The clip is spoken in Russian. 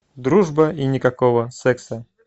дружба и никакого секса